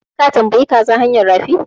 Ka tambayi kaza hanyan rafi?